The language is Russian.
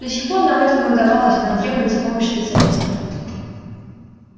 до сих пор нам это не удавалось и нам требуется помощь специалистов